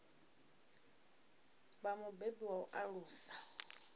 vha mubebi wa u alusa